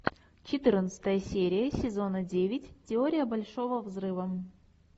четырнадцатая серия сезона девять теория большого взрыва